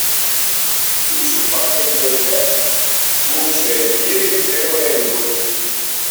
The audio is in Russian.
включи последняя часть лучшая в мире первая любовь